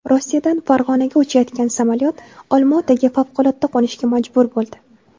Rossiyadan Farg‘onaga uchayotgan samolyot Olmaotaga favqulodda qo‘nishga majbur bo‘ldi .